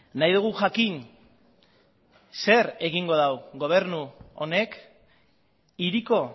nahi dugu jakin zer egingo duen gobernu honek hiriko